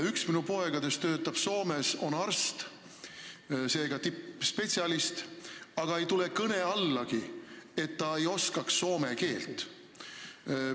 Üks minu poegadest töötab Soomes, ta on arst, seega tippspetsialist, aga ei tule kõne allagi, et ta ei oskaks soome keelt.